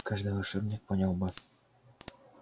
каждый волшебник понял бы